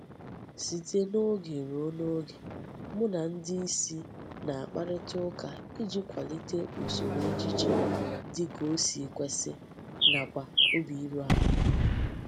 Site n'oge rue n'oge mu na ndi isi na-akparita uka iji kwalite usoro ejiji di ka o si kwesi nakwa obi iruala.